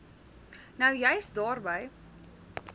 nou juis daarby